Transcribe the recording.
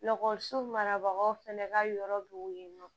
marabagaw fɛnɛ ka yɔrɔ be yen nɔ